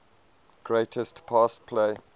greatest pass play